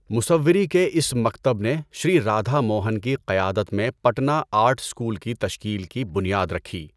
مصوّری کے اس مکتب نے شری رادھا موہن کی قیادت میں پٹنہ آرٹ اسکول کی تشکیل کی بنیاد رکھی۔